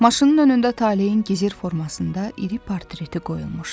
Maşının önündə Talehin gizir formasında iri portreti qoyulmuşdu.